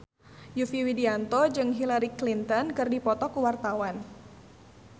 Yovie Widianto jeung Hillary Clinton keur dipoto ku wartawan